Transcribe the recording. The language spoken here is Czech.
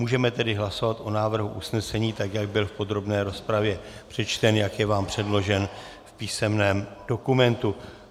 Můžeme tedy hlasovat o návrhu usnesení, tak jak byl v podrobné rozpravě přečten, jak je vám předložen v písemném dokumentu.